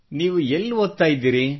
ನೀವು ಎಲ್ಲಿ ಓದುತ್ತಿದ್ದೀರಿ